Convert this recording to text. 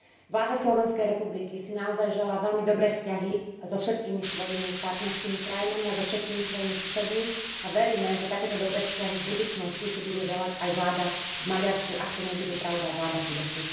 Vláda Slovenskej republiky si naozaj želá veľmi dobré vzťahy so všetkými svojimi partnerskými krajinami a so všetkými svojimi susedmi a veríme, že takéto dobré vzťahy v budúcnosti si bude želať aj vláda v Maďarsku, ak to nebude, pravda, vláda Fideszu.